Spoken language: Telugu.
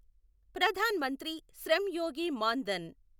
ప్రధాన్ మంత్రి శ్రమ్ యోగి మాన్ ధన్